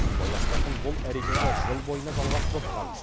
сыбайластардың бұл әрекеті жыл бойына жалғасып отырған